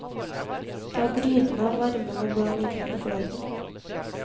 Ta gryten av varmen og bland i kremfløten.